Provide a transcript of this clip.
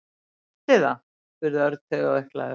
Veistu það? spurði Örn taugaveiklaður.